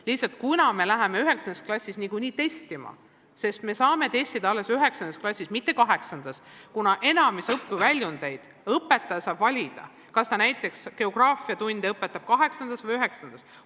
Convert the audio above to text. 9. klassis läheme me niikuinii testima, sest me saame testida alles 9. klassis, mitte 8-ndas, kuna enamiku õpiväljundeid saab õpetaja valida, näiteks kas ta õpetab geograafiat 8-ndas või 9-ndas.